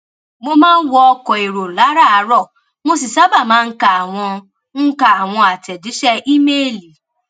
mo máa ń wọ ọkọ èrò láràárò mo sì sábà máa ń ka àwọn ń ka àwọn àtẹjíṣẹ ímeèlì